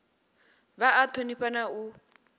vha a thonifha na u